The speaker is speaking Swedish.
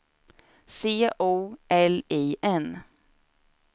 C O L I N